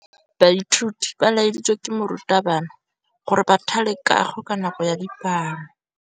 Baithuti ba laeditswe ke morutabana gore ba thale kagô ka nako ya dipalô.